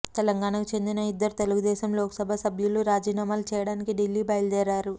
తెలంగాణకు చెందిన ఇద్దరు తెలుగుదేశం లోకసభ సభ్యులు రాజీనామాలు చేయడానికి ఢిల్లీ బయలుదేరారు